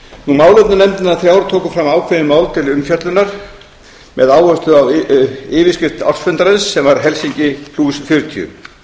málefnanefndirnar þrjár tóku fram ákveðin mál til umfjöllunar með áherslu á yfirskrift ársfundarins sem var helsinki fjörutíu